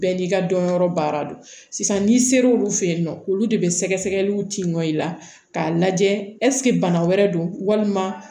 Bɛɛ n'i ka dɔnyɔrɔ baara do sisan n'i sera olu fɛ yen nɔ olu de bɛ sɛgɛsɛgɛliw ci nɔ i la k'a lajɛ ɛseke bana wɛrɛ don walima